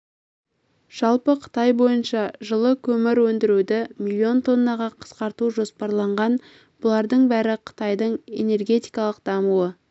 жалпы қытай бойынша жылы көмір өндіруді миллион тоннаға қысқарту жоспарланған бұлардың бәрі қытайдың энергетикалық дамуы